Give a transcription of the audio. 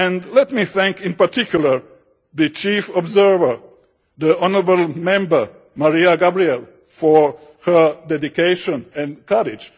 Let me thank in particular the Chief Observer, the honourable Member, Mariya Gabriel, for her dedication and courage.